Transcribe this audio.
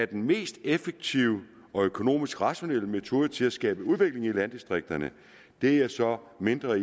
den mest effektive og økonomisk rationelle metode til at skabe udvikling i landdistrikterne er jeg så mindre